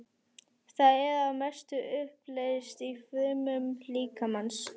Það er að mestu uppleyst í frumum líkamans.